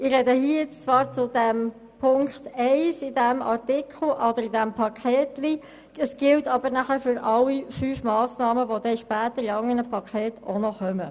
Zwar spreche ich hier zu Ziffer 1 dieses Päckleins, was ich sage, gilt aber für alle fünf Massnahmen, die später noch in anderen Paketen genannt werden.